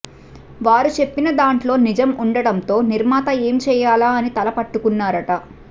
వారు చెప్పిన దాంట్లో నిజం ఉండటంతో నిర్మాత ఏం చేయాలా అని తల పట్టుకున్నారట